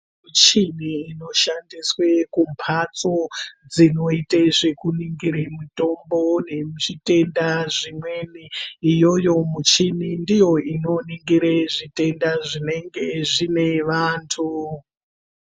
Muchini inoshandiswe kumbatso dzinoite zvekuningire mitombo nechitenda zvimweni iyoyo muchini ndiyo inoningire zvitenda zvinenge zvine vantu.